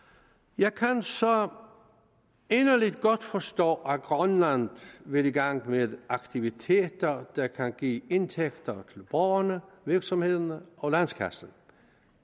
jeg kan så inderligt godt forstå at grønland vil i gang med aktiviteter der kan give indtægter til borgerne virksomhederne og landskassen